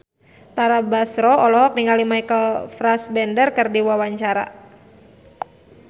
Tara Basro olohok ningali Michael Fassbender keur diwawancara